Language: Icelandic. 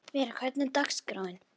Vera, hvernig er dagskráin?